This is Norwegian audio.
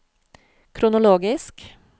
kronologisk